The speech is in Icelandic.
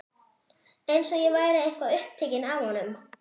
Eins og ég væri eitthvað upptekin af honum.